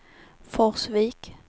Forsvik